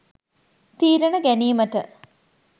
තීරණ ගැනීමට